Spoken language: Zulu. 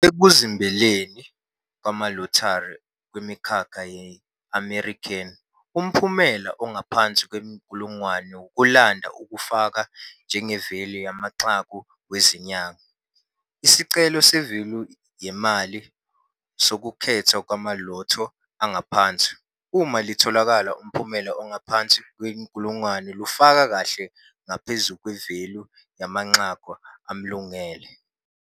Ekuzimbeleni kwamaLottery akwemikhakha ye-American, umphumela ongaphansi kwenkulungwane wokulanda ufake njengevalue yamanqaku wezinyanga. Isicelo se-value yemali, sokukhethwa kwamalotho angaphansi, uma litholakalayo umphumela ongaphansi kwenkulungwane, lufaka kahle ngaphezu kwe-value yamanqaku amlungele.